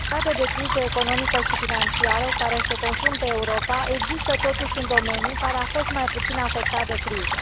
În perioada de criză economică și financiară cu care se confruntă Europa există, totuși, un domeniu care a fost mai puțin afectat de criză.